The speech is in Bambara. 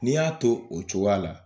N'i y'a to o cogoya la